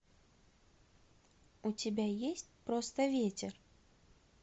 у тебя есть просто ветер